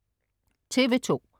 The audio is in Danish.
TV2: